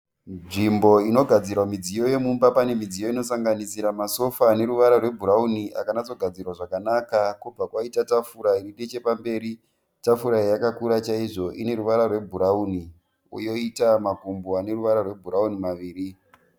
Nzvimbo inogadzirwa midziyo yomumba. Pane midziyo inosanganisira masofa anoruvara rwebhurawuni akanatsogadzirwa zvakanaka kwobva kwaita tafura iri nechepamberi. Tafura iyi yakakura chaizvo. Ine ruvara rwebhurawuni, yoita makumbo anoruvara rwebhurawuni maviri.